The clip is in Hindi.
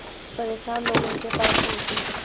परेशान लोग उनके पास उनकी